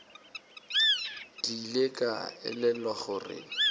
ke ile ka elelwa gore